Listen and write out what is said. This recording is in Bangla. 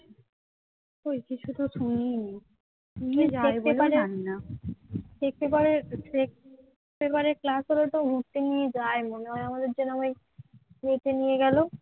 এতে নিয়ে গেল